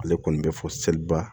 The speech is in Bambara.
Ale kɔni bɛ fɔ seliba